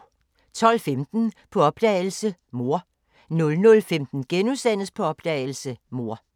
12:15: På opdagelse – Mor 00:15: På opdagelse – Mor *